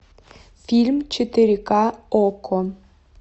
фильм четыре ка окко